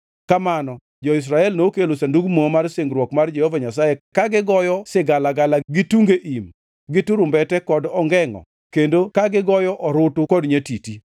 Kamano jo-Israel nokelo Sandug Muma mar singruok mar Jehova Nyasaye ka gigoyo sigalagala gi tunge im, gi turumbete kod ongengʼo kendo ka gigoyo orutu kod nyatiti.